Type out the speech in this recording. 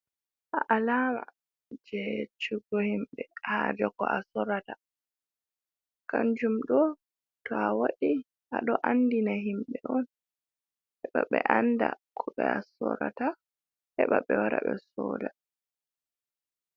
Alama je yeccugo himɓɓe haje ko a sorata, kanjum ɗo to a waɗi a ɗo andina himɓɓe on heɓa ɓe anda ko be a sorata, heɓa ɓe wara ɓe soda.